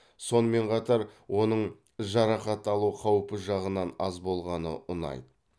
сонымен қатар оның жарақат алу қаупі жағынан аз болғаны ұнайды